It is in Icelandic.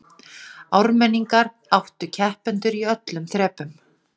Ármenningar áttu keppendur í öllum þrepum